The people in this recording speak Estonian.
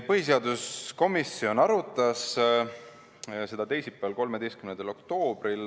Põhiseaduskomisjon arutas seda teisipäeval, 13. oktoobril.